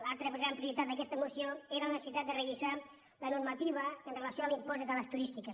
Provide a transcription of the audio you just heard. l’altra gran prioritat d’aquesta moció era la necessitat de revisar la normativa amb relació a l’impost d’estades turístiques